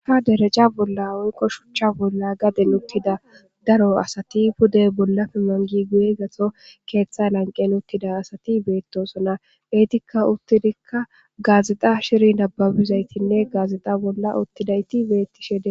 Ka dereca bolla oyqo shuchcha bolla gaden uttida daro asati pudey bolla pi mangi guye gato keeththay lanqen uttida asati beettosona eetikka uttidikka gaazixa shiri nababizaytinne gaazixa bolla uttidayti beetti shede